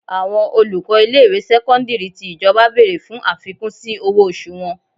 Àwọn olùkọ́ ilé ìwé sẹ́kọ́ńdírì tí ìjọba bèrè fún àfikún sí owó oṣù wọn.